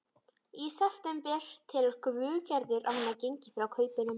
Í september telur Gerður að hún hafi gengið frá kaupunum.